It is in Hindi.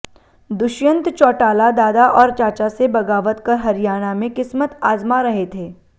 दुष्यंत चौटाला दादा और चाचा से बगावत कर हरियाणा में किस्मत आजमा रहे थे